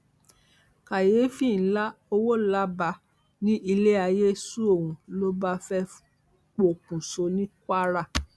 káyééfì ńlá ọwọlabà ní ilé ayé sú òun ló bá fẹẹ pokùṣọ ní kwara